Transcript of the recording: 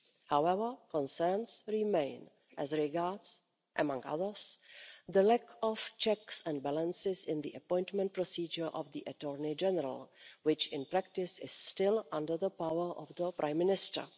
However, concerns remain as regards, among others, the lack of checks and balances in the appointment procedure of the Attorney General, which, in practice, is still under the power of the Prime Minister.